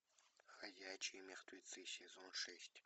ходячие мертвецы сезон шесть